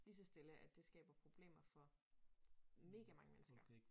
Ligeså stille at det skaber problemer for mega mange mennesker